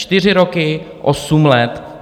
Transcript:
Čtyři roky, osm let.